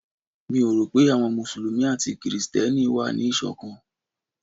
Mi ò rò pé àwọn Mùsùlùmí àti Kristẹni wà ní Ìṣọ̀kan.